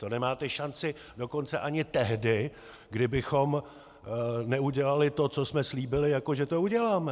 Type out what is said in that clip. To nemáte šanci dokonce ani tehdy, kdybychom neudělali to, co jsme slíbili, jako že to uděláme.